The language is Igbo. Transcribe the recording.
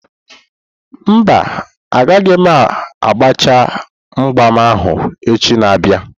Mba, agaghị m agbachaa mgbam ahụ echi na-abịa.